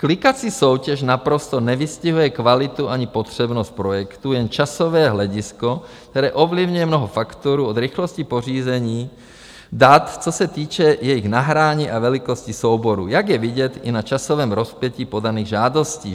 Klikací soutěž naprosto nevystihuje kvalitu ani potřebnost projektu, jen časové hledisko, které ovlivňuje mnoho faktorů od rychlosti pořízení dat, co se týče jejich nahrání a velikosti souboru, jak je vidět i na časovém rozpětí podaných žádostí.